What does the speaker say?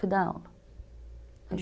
Fui dar aula.